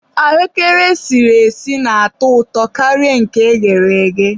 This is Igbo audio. ahụekere esiri esi na-atọ ụtọ karịa nke eghere eghe.